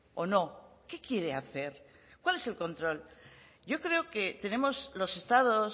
o no qué quiere hacer cuál es el control yo creo que tenemos los estados